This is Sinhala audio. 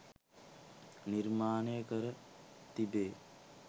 නිර්මාණය කර තිබේ.